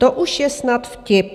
To už je snad vtip.